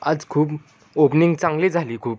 आज खूप ओपनिंग चांगली झाली खूप--